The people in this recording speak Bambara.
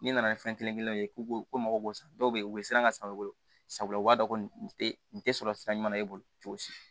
Ni nana ni fɛn kelen kelenw ye k'u ko mako b'u san dɔw bɛ ye u bɛ siran ka san u bolo sabula u b'a dɔn tɛ n tɛ sɔrɔ sira ɲuman na e bolo cogo si